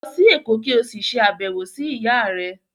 Lọ sí Èkó kí o sì ṣe àbẹ̀wò sí ìyáà rẹ.